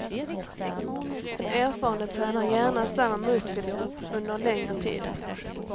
Den erfarne tränar gärna samma muskelgrupp under en längre tid.